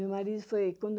meu marido foi